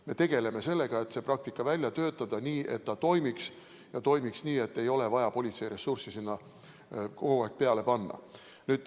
Me tegeleme sellega, et praktika välja töötada nii, et see toimiks ja toimiks nii, et ei oleks vaja politseiressurssi sinna kogu aeg peale panna.